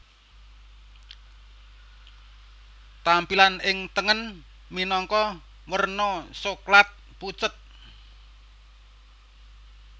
Tampilan ing tengen minangka werna Soklat pucet